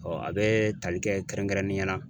a bɛ tali kɛ kɛrɛnkɛrɛnnenya la